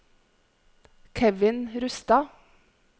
Kevin Rustad